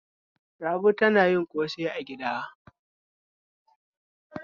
Rabi tana yin ƙosai a gida.